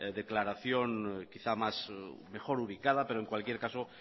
declaración quizá mejor ubicada pero en cualquier caso